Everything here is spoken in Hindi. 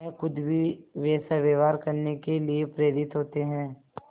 वह खुद भी वैसा व्यवहार करने के लिए प्रेरित होते हैं